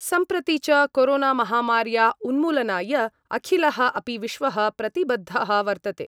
सम्प्रति च कोरोनामहामार्या उन्मूलनाय अखिलः अपि विश्वः प्रतिबद्धः वर्तते।